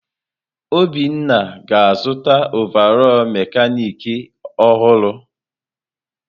Obinna ga-azụta ọvarọọr mekanịkị ọhụrụ.